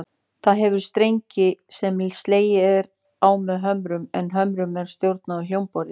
Það hefur strengi sem slegið er á með hömrum, en hömrunum er stjórnað af hljómborði.